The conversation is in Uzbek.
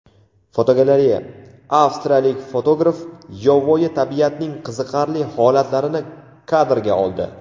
Fotogalereya: Avstriyalik fotograf yovvoyi tabiatning qiziqarli holatlarini kadrga oldi.